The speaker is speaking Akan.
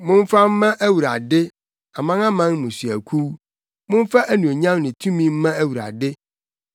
Momfa mma Awurade, amanaman mmusuakuw, momfa anuonyam ne tumi mma Awurade.